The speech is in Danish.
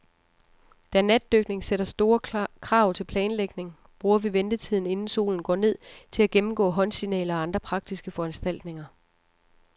Da natdykning sætter store krav til planlægning, bruger vi ventetiden, inden solen går ned, til at gennemgå håndsignaler og andre praktiske foranstaltninger.